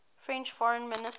french foreign minister